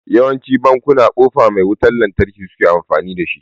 Yawancin bankuna kofa mai wutan lantarki suke amfani da